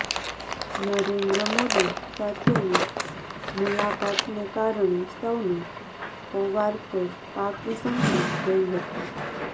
નરેન્દ્ર મોદી સાથેની મુલાકાતને કારણે સૌને પવાર પર પાકી શંકા ગઈ હતી